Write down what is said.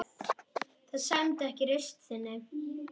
Það sæmdi ekki reisn þinni.